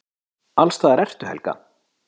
Allsstaðar ertu, Helga!